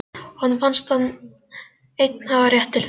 Honum fannst hann einn hafa rétt til þess.